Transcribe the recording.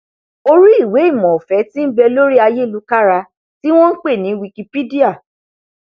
orí ìwéìmọ ọfẹ tí nbẹ lórí ayélukára tí wọn npè ní wikipedia